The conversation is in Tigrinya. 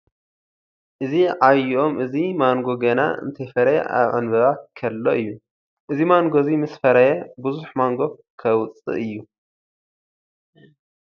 እዚ ዓብይ ኦም እዚ ማንጎ ገና እንተይፈረየ ኣብ ዕንበባ ከሎ እዩ። እዚ ማንጎ እዚ ምስ ፈረየ ቡዙሕ ማንጉ ከውፅእ እዩ።